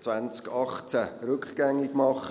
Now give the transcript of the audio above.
2018 rückgängig machen.